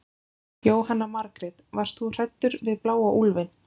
Jóhanna Margrét: Varst þú hræddur við bláa úlfinn?